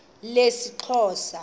lesixhosa